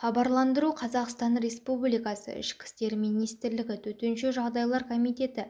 хабарландыру қазақстан республикасы ішкі істер министрлігі төтенше жағдайлар комитеті